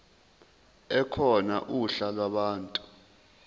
ekhona uhla lwabantu